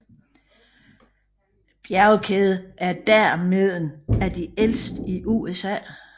Bjergkæden er dermeden af de ældste i USA